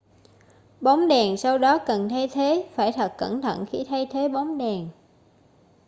bóng đèn sau đó cần thay thế phải thật cẩn thận khi thay thế bóng đèn